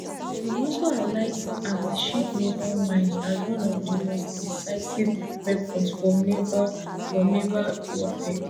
im also highlight antiship naval mines as one of di most decisive weapons for naval for naval warfare